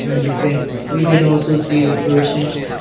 in different we can also see a person.